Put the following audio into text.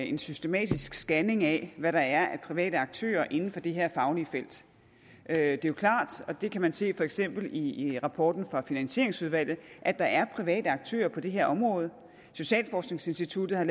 en systematisk scanning af hvad der er af private aktører inden for det her faglige felt det er jo klart og det kan man se for eksempel i rapporten fra finansieringsudvalget at der er private aktører på det her område socialforskningsinstituttet har